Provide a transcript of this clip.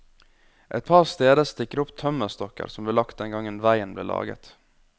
Et par steder stikker det opp tømmerstokker som ble lagt den gangen veien ble laget.